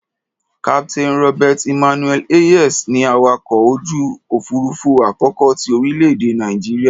Captain Robert Emmanuel Hayes ni awakọ̀ ojú òfuurufú àkọ́kọ́ ti orílẹ̀-èdè Nàìjíríà.